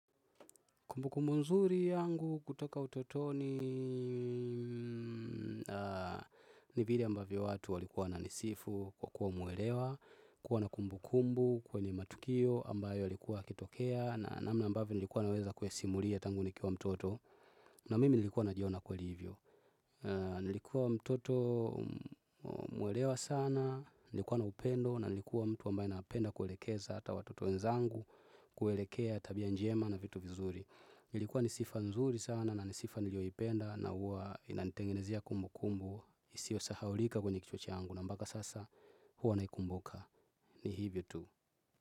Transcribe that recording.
Kumbukumbu nzuri yangu kutoka utotoni ni vili ambavyo watu walikuwa wananisifu kwa kuwa muwelewa, kuwa na kumbukumbu kwenye matukio ambayo ilikuwa yakitokea na namna ambavyo nilikuwa naweza kuyasimulia tangu nikiwa mtoto na mimi nilikuwa najiona kweli hivyo. Nilikuwa mtoto mwelewa sana, nilikuwa na upendo na nilikuwa mtu ambayo napenda kuelekeza hata watoto wenzangu kuelekea tabia njema na vitu vizuri. Ilikuwa ni sifa nzuri sana na ni sifa niliyoipenda na huwa inanitengenezia kumbukumbu isiyo sahaolika kwenye kichwa changu na mpaka sasa huwa naikumbuka ni hivyo tu.